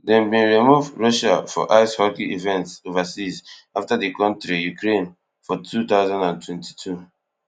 dem bin remove russia from ice hockey events overseas afta di kontri ukraine for two thousand and twenty-two